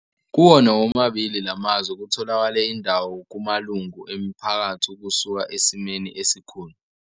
"Kuwona womabili la mazwe, kutholakele indawo kumalungu emiphakathi ukusuka esimeni esikhulu.